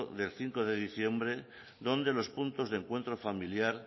del cinco de diciembre donde los puntos de encuentro familiar